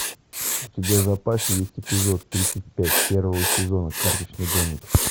у тебя в запасе есть эпизод тридцать пять первого сезона карточный домик